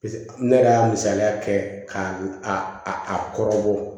ne yɛrɛ y'a misaliya kɛ k'a a kɔrɔ bɔ